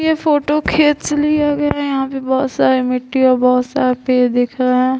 ये फोटो खेत से लिया गया है यहाँ पे बोहोत सारे मिट्टी और भोत सारे पेड़ दिख रहा है।